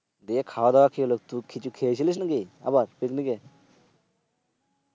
এ খওয়া দাওয়ার কি হলো? কিছু খেয়েছিল নাকি আবার Picnic এ?